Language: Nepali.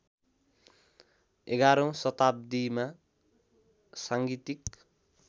११ औँ शताब्दीमा सांगीतिक